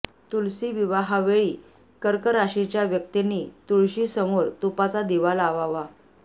तुलसी विवाहावेळी कर्क राशीच्या व्यक्तींनी तुळशीसमोर तुपाचा दिवा लावावा